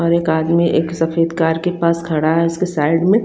और एक आदमी एक सफेद कार के पास खड़ा है उसके साइड में--